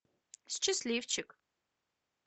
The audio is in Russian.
счастливчик